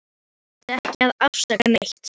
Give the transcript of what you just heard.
Hún þurfti ekki að afsaka neitt.